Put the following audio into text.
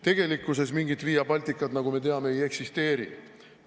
Tegelikkuses mingit Via Balticat, nagu me teame, ei eksisteeri.